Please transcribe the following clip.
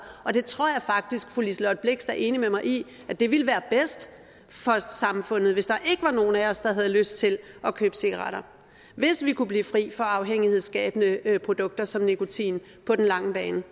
jeg tror faktisk fru liselott blixt er enig med mig i at det ville være bedst for samfundet hvis der ikke var nogen af os der havde lyst til at købe cigaretter hvis vi kunne blive fri for afhængighedsskabende produkter som nikotin på den lange bane